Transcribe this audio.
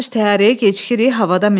Təyyarəyə gecikirik, havada minirik.